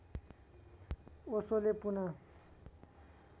ओशोले पुनः